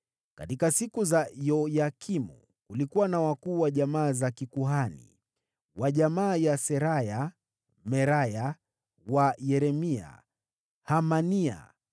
Katika siku za Yoyakimu, kulikuwa na wakuu wa jamaa za kikuhani: wa jamaa ya Seraya, Meraya; wa jamaa ya Yeremia, Hanania;